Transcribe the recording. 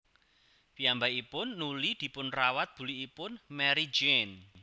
Piyambakipun nuli dipunrawat bulikipun Marie Jeanne